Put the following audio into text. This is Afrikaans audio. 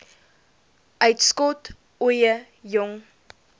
uitskot ooie jong